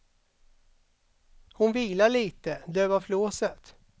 Hon vilar lite, dövar flåset.